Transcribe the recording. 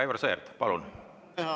Aivar Sõerd, palun!